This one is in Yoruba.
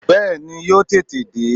Bẹ́ẹ̀ni, yóò tètè dé